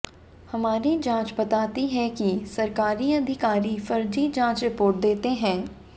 हमारी जांच बताती है कि सरकारी अधिकारी फर्जी जांच रिपोर्ट देते हैं